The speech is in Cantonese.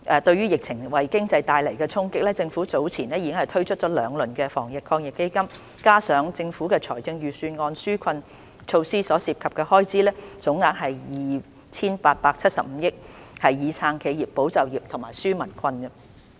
對於疫情為經濟帶來的衝擊，政府早前已推出兩輪防疫抗疫基金措施，加上財政預算案紓困措施，所涉及的開支總額為 2,875 億元，以撐企業、保就業及紓解民困。